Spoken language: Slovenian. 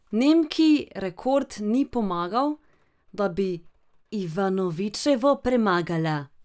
Nemki rekord ni pomagal, da bi Ivanovičevo premagala.